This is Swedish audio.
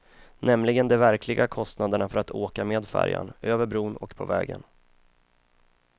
Nämligen de verkliga kostnaderna för att åka med färjan, över bron och på vägen.